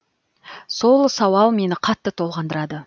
сол сауал мені қатты толғандырады